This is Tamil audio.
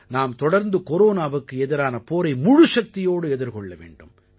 நாம் தொடர்ந்து கொரோனாவுக்கு எதிரான போரை முழுச்சக்தியோடு எதிர்கொள்ள வேண்டும்